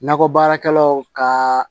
Nakɔbaarakɛlaw kaa